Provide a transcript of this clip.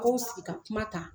Ko sigi ka kuma ta